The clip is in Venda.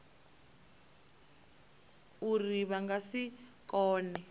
uri vha nga si kone